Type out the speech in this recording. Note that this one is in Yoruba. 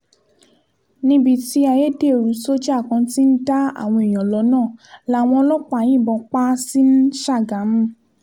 níbi tí ayédèrú sójà kan ti ń dá àwọn èèyàn lọ́nà làwọn ọlọ́pàá yìnbọn pa á sí ṣágámù